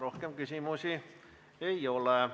Rohkem küsimusi ei ole.